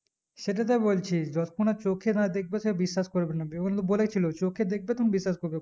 সেটাই তো বলছি যতক্ষণ চোক না দেখবো সে বিশ্বাস করবে না বলে ছিল চোখে দেখবে তুমি বিশ্বাস করবে